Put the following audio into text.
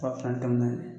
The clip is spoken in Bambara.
A fan dɔminen